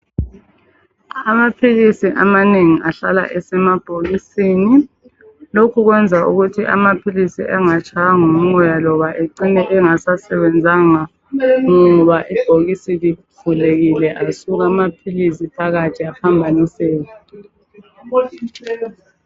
Amaphilisi amanengi ahlala esemabhokisini. Lokhu kwenza ukuthi amaphilisi engatshaywa ngumoya loba ecine engasasebenzanga ngoba ibhokisi livulekile asuka amaphilisi phakathi aphambaniseka.